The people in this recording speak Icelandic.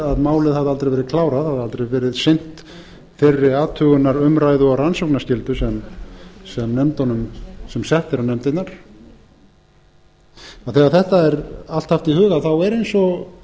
að málið hafði aldrei verið klárað hafði aldrei verið sinnt þeirri athugunar umræðu og rannsóknarskyldu sem sett er á nefndirnar þegar þetta er allt haft í huga er eins og